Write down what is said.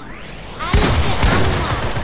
Elsku mamma!